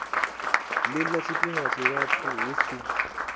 lila tshifhinga tshilapfu hu si